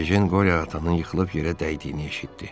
Yene Qorya atanın yıxılıb yerə dəydiyini eşitdi.